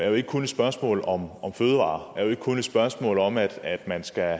jo ikke kun et spørgsmål om fødevarer og ikke kun et spørgsmål om at at man skal